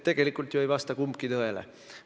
Tegelikult ei vasta kumbki tõele.